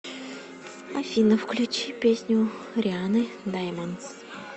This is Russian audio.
афина включи песню рианны даймондс